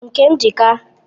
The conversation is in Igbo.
Nke m ji ka